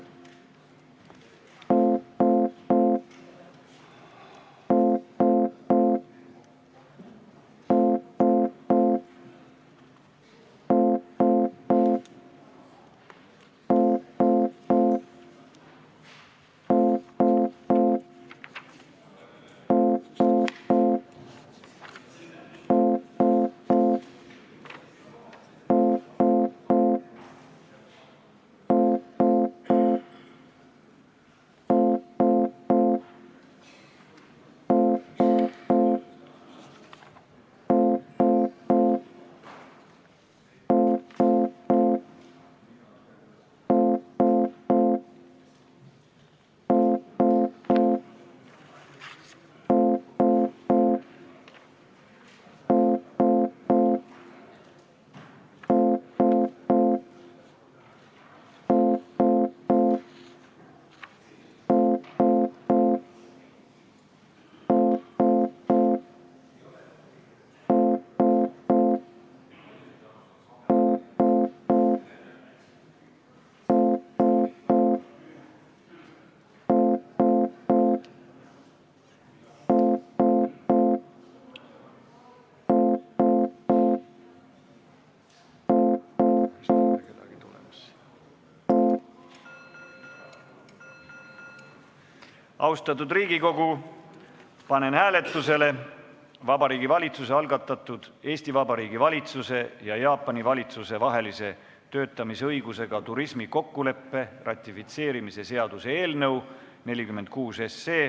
Austatud Riigikogu, panen hääletusele Vabariigi Valitsuse algatatud Eesti Vabariigi valitsuse ja Jaapani valitsuse vahelise töötamisõigusega turismi kokkuleppe ratifitseerimise seaduse eelnõu 46.